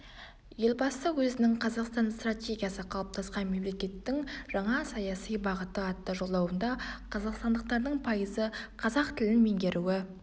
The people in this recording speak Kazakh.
елбасы өзінің қазақстан стратегиясы қалыптасқан мемлекеттің жаңа саяси бағыты атты жолдауында қазақстандықтардың пайызы қазақ тілін меңгеруі